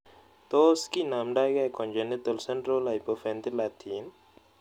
Tos kindamdaikei contigental central hypoventilatin?